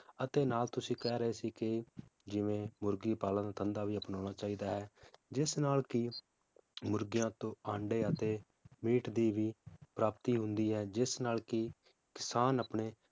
ਅਤੇ ਨਾਲ ਤੁਸੀਂ ਕਹਿ ਰਹੇ ਸੀ ਕਿ ਜਿਵੇ ਮੁਰਗੀ ਪਾਲਣ ਧੰਦਾ ਵੀ ਅਪਣਾਉਣਾ ਚਾਹੀਦਾ ਹੈ ਜਿਸ ਨਾਲ ਕਿ ਮੁਰਗੀਆਂ ਤੋਂ ਆਂਡੇ ਅਤੇ meat ਦੀ ਵੀ ਪ੍ਰਾਪਤੀ ਹੁੰਦੀ ਹੈ, ਜਿਸ ਨਾਲ ਕਿ ਕਿਸਾਨ ਆਪਣੇ